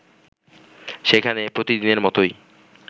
সেখানে প্রতিদিনের মতোই